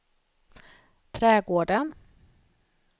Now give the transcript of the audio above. trädgården